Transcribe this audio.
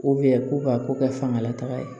ko ka ko kɛ fangalataga ye